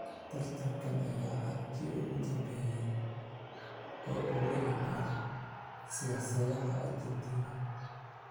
Tartankan ayaa ahaa kii ugu dambeeyay ee uu la yimaado siyaasadaha Argentina.